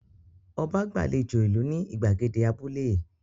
Ọba gbàlejò ìlú ní ìgbàgede abúlé?